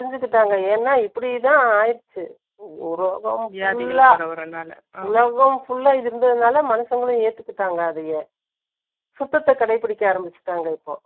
அவங்களும் அதை புரிஞ்சுக்கிட்டாங்க. ஏன்னா, இப்படித்தான் ஆயிருச்சு உலகம் full ஆ இருந்ததுனால, மனுஷங்களும் ஏத்துக்கிட்டாங்க அதையே. சுத்தத்தை கடைபிடிக்க ஆரம்பிச்சுட்டாங்க இப்போ